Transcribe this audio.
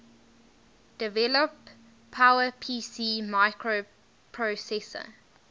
develop powerpc microprocessor